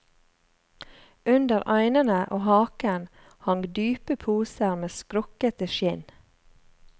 Under øynene og haken hang dype poser med skrukkete skinn.